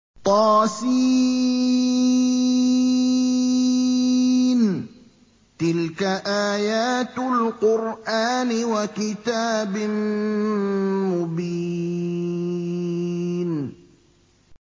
طس ۚ تِلْكَ آيَاتُ الْقُرْآنِ وَكِتَابٍ مُّبِينٍ